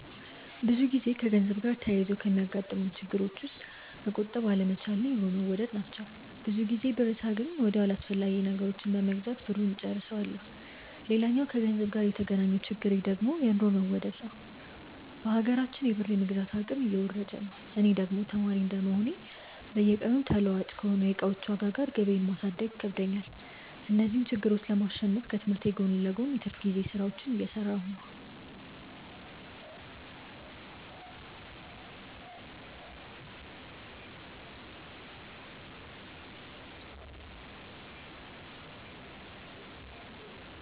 ብዙ ጊዜ ከገንዘብ ጋር ተያይዞ ከሚያጋጥሙኝ ችግሮች ውስጥ መቆጠብ አለመቻል እና የኑሮ መወደድ ናቸው። ብዙ ጊዜ ብር ሳገኝ ወዲያው አላስፈላጊ ነገሮችን በመግዛት ብሩን እጨርሰዋለሁ። ሌላኛው ከገንዘብ ጋር የተገናኘው ችግሬ ደግሞ የኑሮ መወደድ ነዉ። በሀገራችን የብር የመግዛት አቅም እየወረደ ነው። እኔ ደግሞ ተማሪ እንደመሆኔ በየቀኑ ተለዋዋጭ ከሆነው የእቃዎች ዋጋ ጋር ገቢየን ማሳደግ ይከብደኛል። እነዚህን ችግሮች ለማሸነፍ ከትምህርቴ ጎን ለጎን የትርፍ ጊዜ ስራዎችን እየሰራሁ ነው።